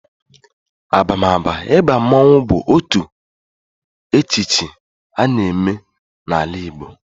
Abamaba ịba mmonwu bụ otu echichi a na eme n'ala Igbo